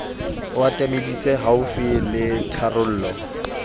o atameditse haufi le tharollo